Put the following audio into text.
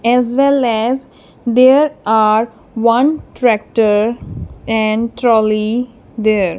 as well as there are one tractor and trolley there.